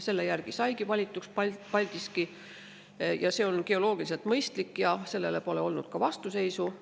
Selle järgi saigi valituks Paldiski ja see on geoloogiliselt mõistlik, nii et sellele pole vastuseisu olnud.